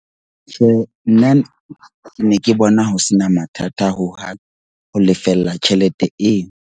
Tjhe, nna ke ne ke bona ho sena mathata hohang ho lefella tjhelete eo.